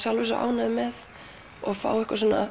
svo ánægður með og fá